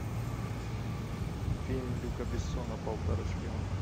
фильм люка бессона полтора шпиона